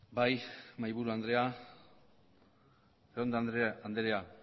bai mahaiburu andrea arrondo andrea